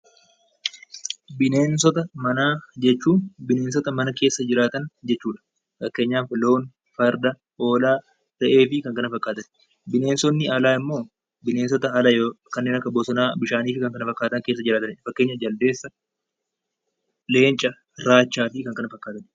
Bineensota manaa jechuun bineensota mana keessa jiraatan jechuudha. Fakkeenyaaf loon, farda, hoolaa, re'ee fi kan kana fakkaatan . Bineensonni alaa immoo kanneen akka bosonaa, bishaanii fi kanneen kana fakkaatan keessa jiraatanidha. Fakkeenyaaf jaldeessa, leenca, raachaa fi kan kana fakkaatan